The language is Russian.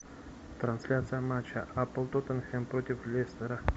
трансляция матча апл тоттенхэм против лестера